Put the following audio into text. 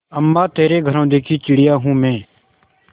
अम्मा तेरे घरौंदे की चिड़िया हूँ मैं